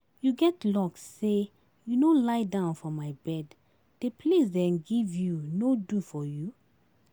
You get luck say you no lie down for my bed, the place dem give you no do for you?